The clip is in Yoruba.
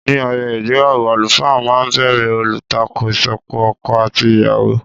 Ní ayẹyẹ ìgbéyàwó, àlùfáà máa ń bèrè olùtakò ìsopọ̀ ọkọ àti ìyàwó.